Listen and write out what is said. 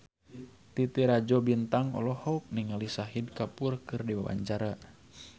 Titi Rajo Bintang olohok ningali Shahid Kapoor keur diwawancara